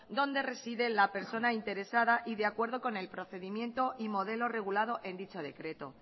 donde reside la persona interesada y de acuerdo con el procedimiento y modelo regulado en dicho decreto